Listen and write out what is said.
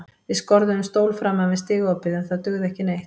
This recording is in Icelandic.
Við skorðuðum stól framan við stigaopið en það dugði ekki neitt.